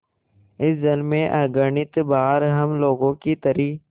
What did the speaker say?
इस जल में अगणित बार हम लोगों की तरी